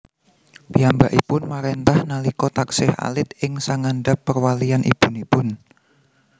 Piyambakipun maréntah nalika taksih alit ing sangandhap perwalian ibunipun